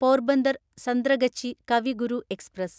Porbandar Santragachi Kavi Guru express